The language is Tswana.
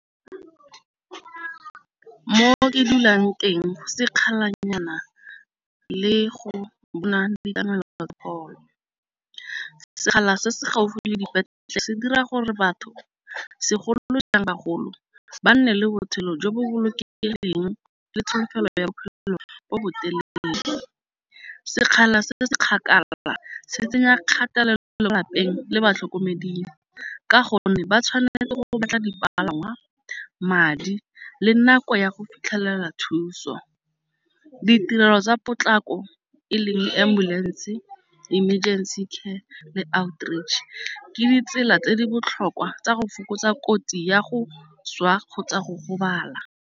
Mo ke dulang teng sekgala-nyana le go bona le ditlamelo local. Sekgala se se gaufi le se dira gore batho segolojang bagolo ba nne le botshelo jo bo boloke leng le tsholofelo ya bophelo bo botelele. Sekgala se se se kgakala se tsenya kgatelelo le lapeng le batlhokomeding, ka gonne ba tshwanetse go batla dipalangwa, madi le nako ya go fitlhelela thuso. Ditirelo tsa potlako eleng ambulance emergency care le outreach ke ditsela tse di botlhokwa tsa go fokotsa kotsi ya go swa kgotsa go gobala.